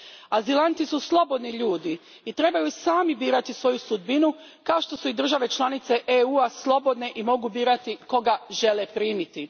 Azilanti su slobodni ljudi i trebaju sami birati svoju sudbinu, kao što su i države članice EU a slobodne i mogu birati koga žele primiti.